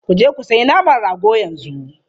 Ku je ku sayi naman rago yanzu!